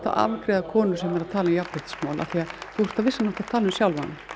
að afgreiða konur sem tala um jafnréttismál því þú ert á vissan hátt að tala um sjálfa þig